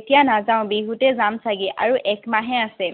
এতিয়া নাযাও, বিহুতে যাম চাগে। আৰু এক মাহহে আছে।